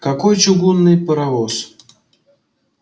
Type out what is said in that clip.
какой чугунный паровоз